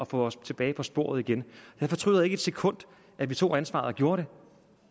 få os tilbage på sporet igen jeg fortryder ikke et sekund at vi tog ansvaret og gjorde det